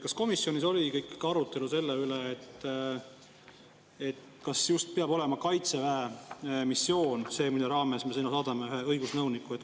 Kas komisjonis oli arutelu selle üle, kas see peab olema just Kaitseväe missioon, mille raames me sinna saadame ühe õigusnõuniku.